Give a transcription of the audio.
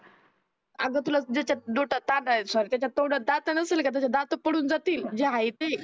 आगं तुला ज्याच्यात दोट सॉरी त्याच्या तोंडात दातं नसेल त्याचे दात पडुन जातील जे आहे ते.